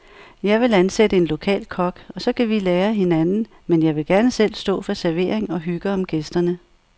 Jeg vil ansætte en lokal kok, og så kan vi lære af hinanden, men jeg vil gerne selv stå for servering og hygge om gæsterne.